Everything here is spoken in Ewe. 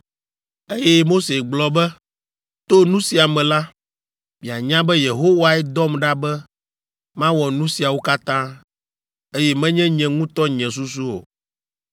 Eye Mose gblɔ be, “To nu sia me la, mianya be Yehowae dɔm ɖa be mawɔ nu siawo katã, eye menye nye ŋutɔ nye susu o.